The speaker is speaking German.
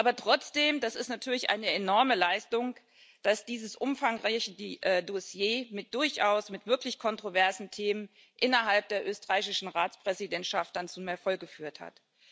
Aber trotzdem Das ist natürlich eine enorme Leistung, dass dieses umfangreiche Dossier mit wirklich kontroversen Themen innerhalb der österreichischen Ratspräsidentschaft dann zum Erfolg geführt hat.